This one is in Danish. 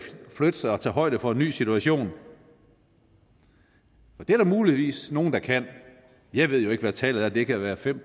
flytte sig og tage højde for en ny situation det er der muligvis nogle der kan jeg ved ikke hvad tallet er det kan være fem